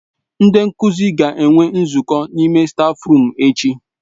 Ndị nkuzi ga-enwe nzukọ n'ime stáfruum echi.